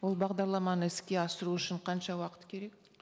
ол бағдарламаны іске асыру үшін қанша уақыт керек